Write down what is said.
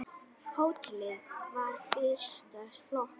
Hótelið var fyrsta flokks.